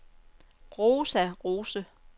Rosa Rose